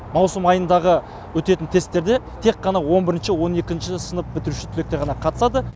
маусым айындағы өтетін тестілерде тек қана он бірінші он екінші сынып бітіруші түлектер ғана қатысады